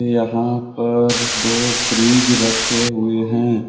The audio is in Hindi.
यहां पर दो फ्रिज रखे हुए हैं।